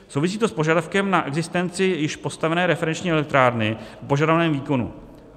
Souvisí to s požadavkem na existenci již postavené referenční elektrárny o požadovaném výkonu.